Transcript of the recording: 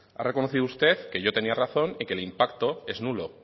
ha reconocido usted que yo tenía razón y que el impacto es nulo